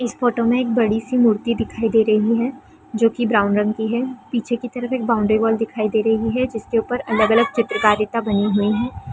इस फोटो में एक बड़ी सी मूर्ति दिखाई दे रही है जो की ब्राउन रंग की है पीछे की तरफ एक बाउंड्री वाल दिखाई दे रही है जिसके ऊपर अलग-अलग चित्रकारीता बनी हुई है।